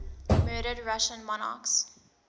murdered russian monarchs